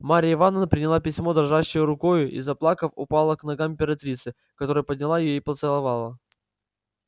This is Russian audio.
марья ивановна приняла письмо дрожащею рукою и заплакав упала к ногам императрицы которая подняла её и поцеловала